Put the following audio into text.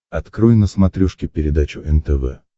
открой на смотрешке передачу нтв